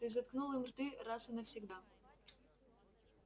ты заткнул им рты раз и навсегда